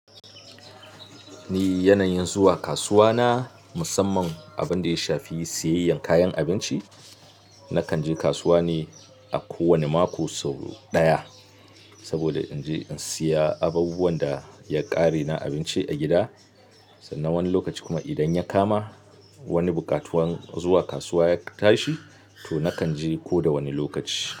Ni yanayin zuwa kasuwa na musamman abinda ya shafi siyayyan kayan abinci. Nakan je kasuwa ne a kowane mako sau ɗaya saboda in je in siya abubuwan da ya ƙare na abinci a gida. Sannan wani lokaci kuma idan ya kama wani buƙatuwan zuwa kasuwa ya tashi, to nakan je ko da wane lokaci.